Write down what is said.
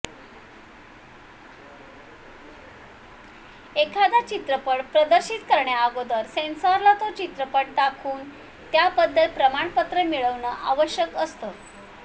एखादा चित्रपट प्रदर्शित करण्याअगोदर सेन्सॉरला तो चित्रपट दाखवून त्याबद्दल प्रमाणपत्र मिळवणं आवश्यक असतं